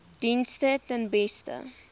dienste ten beste